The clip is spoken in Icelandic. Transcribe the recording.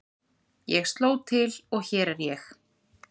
Ég sló til og hér er ég.